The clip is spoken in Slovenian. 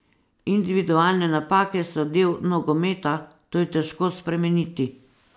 Individualne napake so del nogometa, to je težko spremeniti.